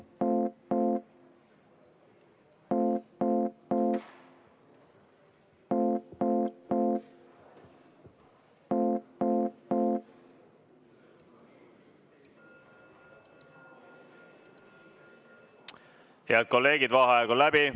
V a h e a e g Head kolleegid, vaheaeg on läbi.